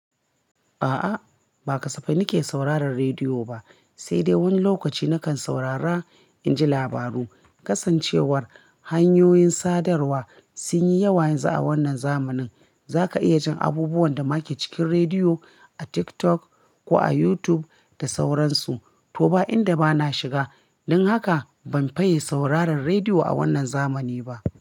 A'a, ba kasafai nake sauraron rediyo ba, sai dai wani lokaci na kan saurara in ji labaru. Kasancewar hanyoyin sadarwa sun yi yawa yanzu a wannan zamanin, za ka iya jin abubuwan da ma ke cikin rediyo a TikTok ko a YouTube da sauransu. To ba inda bana shiga, don haka ban faye sauraron rediyo a wannan zamani ba.